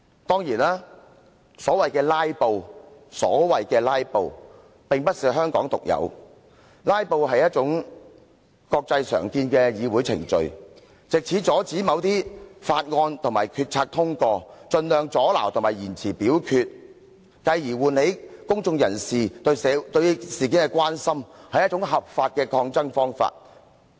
當然，所謂的"拉布"並非香港獨有，"拉布"是一種國際常見的議會程序，藉以阻止某些法案和決策通過，透過盡量阻撓和延遲表決，繼而喚起公眾人士對事件的關心，是一種合法的抗爭方法。